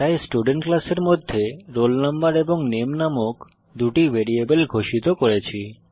তাই স্টুডেন্ট ক্লাসের মধ্যে রোল নাম্বার এবং নামে নামক দুটি ভ্যারিয়েবল ঘোষিত করি